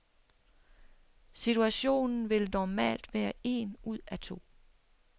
Situationen vil normalt være en ud af to.